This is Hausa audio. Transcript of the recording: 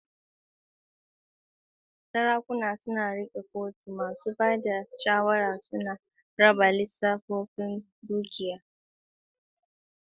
Sarakuna suna riƙe kotu, masu ba da shawara suna radawa lissafin dukiya da iko a cikin kunnuwansu.